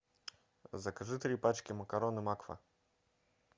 закажи три пачки макароны макфа